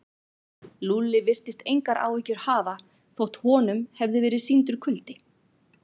Lúlli virtist engar áhyggjur hafa þótt honum hefði verið sýndur kuldi.